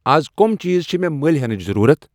از کۄم چیز چِھ مے مٔلۍ ہینٕچ ضرورت ؟